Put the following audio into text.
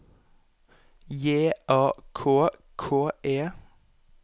J A K K E